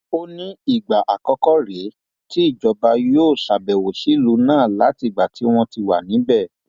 ó ní ìgbà àkọkọ rèé tíjọba yóò ṣàbẹwò sílùú náà látìgbà tí wọn ti wà níbẹ